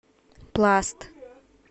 пласт